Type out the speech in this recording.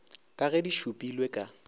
ka ge di šupilwe ka